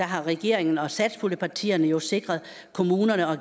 har regeringen og satspuljepartierne jo sikret kommunerne og